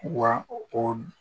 Wa o